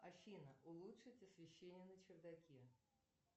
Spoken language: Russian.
афина улучшить освещение на чердаке